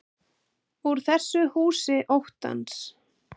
Úr þessu húsi óttans.